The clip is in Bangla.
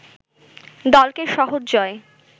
দলকে সহজ জয়